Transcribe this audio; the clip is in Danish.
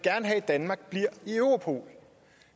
have at danmark bliver i europol